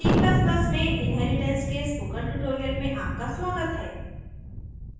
c ++ में inheritance के spoken tutorial में आपका स्वागत है